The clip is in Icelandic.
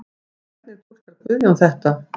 En hvernig túlkar Guðjón þetta?